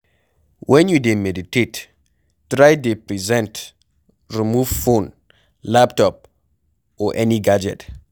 When you dey meditate, try dey present, remove phone, laptop or any gadget